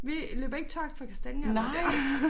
Vi løber ikke tør for kastanjer lige der